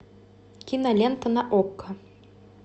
кинолента на окко